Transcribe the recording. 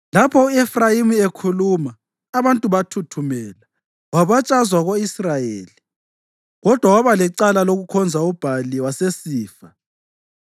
Lapho u-Efrayimi ekhuluma, abantu bathuthumela; wabatshazwa ko-Israyeli. Kodwa waba lecala lokukhonza uBhali wasesifa.